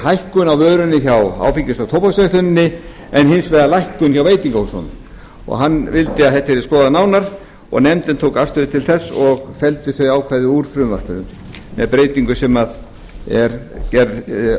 hækkun á vörunni hjá áfengis og tóbaksversluninni en hins vegar lækkun hjá veitingahúsunum hann vildi að þetta yrði skoðað nánar og nefndin tók afstöðu til þess og felldi þau ákvæði úr frumvarpinu með breytingu sem er gerð